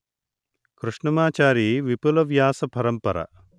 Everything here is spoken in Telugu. కృష్ణమాచారి విపుల వ్యాస పరంపర